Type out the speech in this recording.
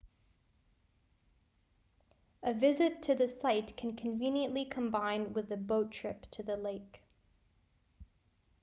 a visit to the site can be conveniently combined with a boat trip to the lake